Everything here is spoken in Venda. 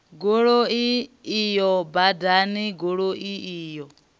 goloi iyo badani goloi iyo